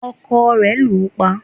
ọkọ rẹ̀ lù ú pa